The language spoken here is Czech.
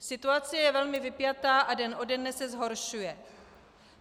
Situace je velmi vypjatá a den ode dne se zhoršuje.